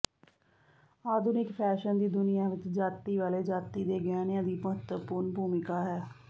ਆਧੁਨਿਕ ਫੈਸ਼ਨ ਦੀ ਦੁਨੀਆ ਵਿੱਚ ਜਾਤੀ ਵਾਲੇ ਜਾਤੀ ਦੇ ਗਹਿਣਿਆਂ ਦੀ ਮਹੱਤਵਪੂਰਣ ਭੂਮਿਕਾ ਹੈ